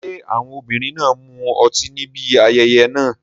Ṣé àwọn obìnrin náà mu ọtí níbi ayẹyẹ náà?